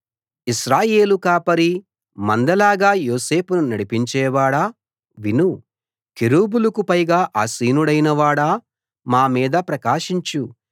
ఇశ్రాయేలు కాపరీ మందలాగా యోసేపును నడిపించేవాడా విను కెరూబులకు పైగా ఆసీనుడవైనవాడా మా మీద ప్రకాశించు